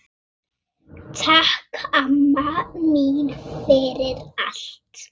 Takk, amma mín, fyrir allt.